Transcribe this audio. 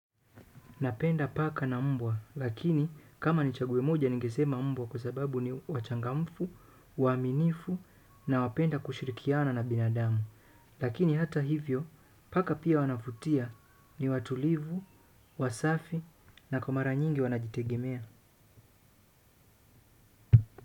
Napenda paka na mbwa, lakini kama ni chaguo mmoja nikesema mbwa kwa sababu ni wachangamfu, waminifu nawapenda kushirikiana na binadamu. Lakini hata hivyo, paka pia wanavutia ni watulivu, wasafi na kwa mara nyingi wanajitegemea.